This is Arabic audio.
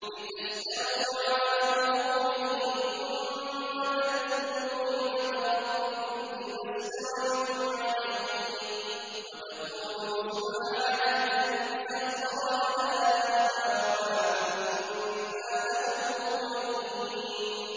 لِتَسْتَوُوا عَلَىٰ ظُهُورِهِ ثُمَّ تَذْكُرُوا نِعْمَةَ رَبِّكُمْ إِذَا اسْتَوَيْتُمْ عَلَيْهِ وَتَقُولُوا سُبْحَانَ الَّذِي سَخَّرَ لَنَا هَٰذَا وَمَا كُنَّا لَهُ مُقْرِنِينَ